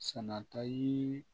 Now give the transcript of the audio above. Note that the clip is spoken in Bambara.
Sɛnɛta ye